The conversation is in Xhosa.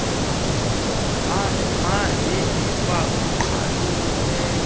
mabi lifa ongqalileyo